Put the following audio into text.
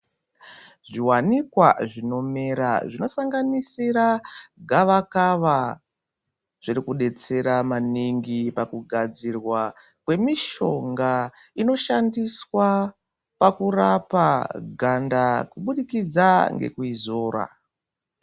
Zviwanikwa zvinomera zvinosanganisira gavakava zvirikudetsera maningi pakugadzirwa kwemishonga inoshandiswa pakurapa ganda kubudikidza ngekuizora.